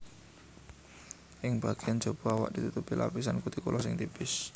Ing bagéyan jaba awak ditutupi lapisan kutikula sing tipis